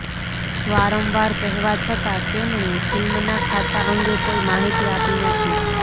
વારંવાર કહેવા છતાં તેમણે ફિલ્મના ખાતા અંગે કોઈ માહિતી આપી નથી